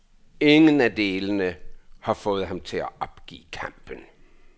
Ingen af delene har fået ham til at opgive kampen.